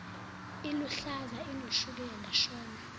iluhlaza inoshukela shono